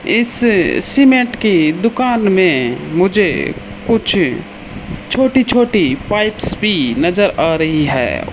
इस सीमेंट की दुकान मे मुझे कुछ छोटी छोटी पाइप्स भी नज़र आ रही है।